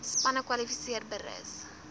spanne kwalifiseer berus